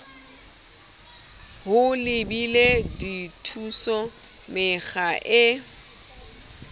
ho lebela dithuso mekga e